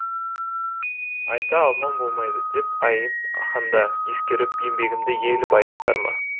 айта алман болмайды деп айып ханда ескеріп еңбегімді ел байыптар ма